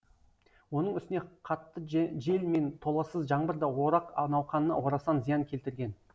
оның үстіне қатты жел мен толассыз жаңбыр да орақ науқанына орасан зиян келтірген